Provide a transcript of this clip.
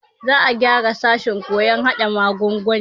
Za a gyara sashen koyon hada magunguna.